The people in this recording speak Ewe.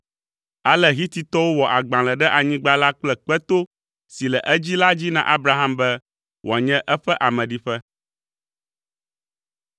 Ale Hititɔwo wɔ agbalẽ ɖe anyigba la kple kpeto si le edzi la dzi na Abraham be wòanye eƒe ameɖiƒe.